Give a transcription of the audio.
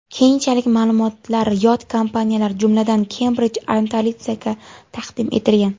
Keyinchalik ma’lumotlar yot kompaniyalar, jumladan Cambridge Analytica’ga taqdim etilgan.